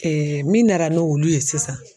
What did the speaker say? min nara n'olu ye sisan.